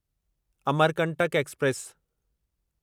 Amarkantak express